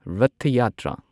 Rath Yatra